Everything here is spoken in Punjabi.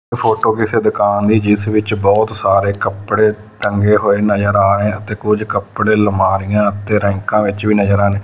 ਏਹ ਫੋਟੋ ਕਿਸੇ ਦੁਕਾਨ ਦੀ ਹੈ ਜਿੱਸ ਵਿੱਚ ਬਹੁਤ ਸਾਰੇ ਕੱਪੜੇ ਟੰਗੇ ਹੋਏ ਨਜ਼ਰ ਆ ਰਹੇ ਹਾਂ ਤੇ ਕੁਝ ਕੱਪੜੇ ਅਲਮਾਰੀਆਂ ਤੇ ਰੇਂਕਾਂ ਵਿੱਚ ਵੀ ਨਜਰ ਆਣ--